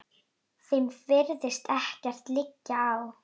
Þeim virðist ekkert liggja á.